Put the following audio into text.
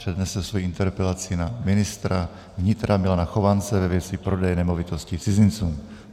Přednese svoji interpelaci na ministra vnitra Milana Chovance ve věci prodeje nemovitostí cizincům.